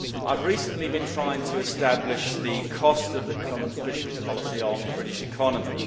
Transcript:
Mr President, I have recently been trying to establish the cost of the common fisheries policy to the British economy.